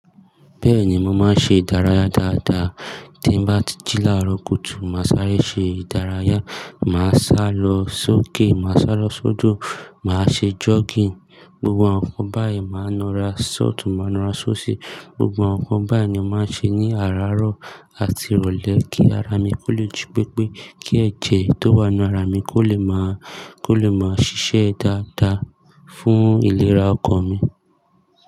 Bẹ́ẹ̀ni, mo máa ń ṣe ìdárayá dáadáa. Tí n bá ti jí lára kùtù, màá sáré ṣe ìdárayá, màá sá lọ sókè, màá sá lọ sódo, màá ṣe jogging. Gbgbo àwọn nǹkan báyìí, màá na ra sotun, màá na ra sóòṣì. Gbgbo àwọn nǹkan báyìí ni a máa ń ṣe ní àràárọ̀ àti ìrọ̀lẹ́ kí ara mi kó le ji pépé, kí ẹ̀jẹ̀ tó wà nínú ara mi kó lè máa, kó lè máa ṣiṣẹ́ dáadáa fún ìlera ọkàn mi.